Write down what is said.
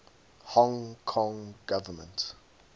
hong kong government